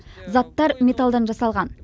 заттар металдан жасалған